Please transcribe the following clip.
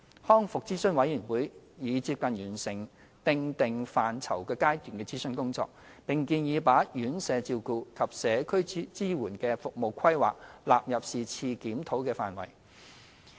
康復諮詢委員會已接近完成"訂定範疇"階段的諮詢工作，並建議把院舍照顧及社區支援的服務規劃納入是次檢討的範疇。